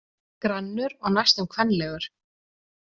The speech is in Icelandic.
Grannur og næstum kvenlegur.